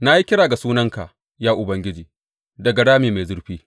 Na yi kira ga sunanka, ya Ubangiji, daga rami mai zurfi.